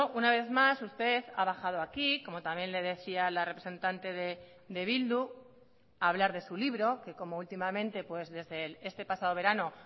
una vez más usted ha bajado aquí como también le decía la representante de bildu a hablar de su libro que como últimamente pues desde este pasado verano